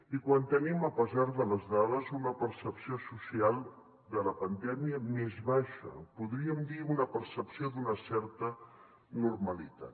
i quan tenim a pesar de les dades una percepció social de la pandèmia més baixa en podríem dir una percepció d’una certa normalitat